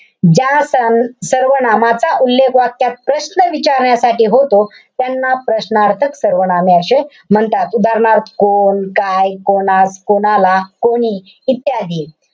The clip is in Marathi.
ज्या स~ सर्वनामाचा उल्लेख वाक्यात प्रश्न विचारण्यासाठी होतो. त्यांना प्रश्नार्थक सर्वनामे अशे म्हणतात. उदाहरणार्थ कोण, काय, कोणास, कोणाला, कोणी इत्यादी.